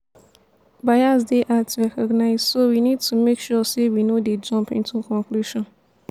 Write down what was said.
bias dey hard to recognize so we need to make sure sey we no dey jump into conclusion